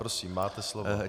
Prosím, máte slovo.